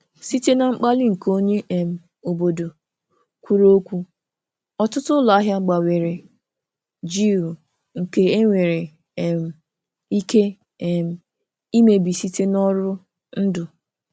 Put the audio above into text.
Site na mkpali nke onye um obodo kwuru okwu, ọtụtụ ụlọahịa gbanwere jiw nke e nwere um ike um imebi site n'ọrụ ndụ.